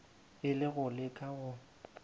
e le go leka go